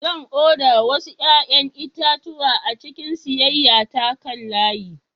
Zan oda wasu 'ƴa'ƴan itatuwa a cikin siyayya ta kan layi.